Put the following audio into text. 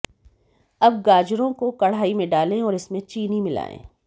अब गाजरों को कडाही में डालें और इसमें चीनी मिलाएं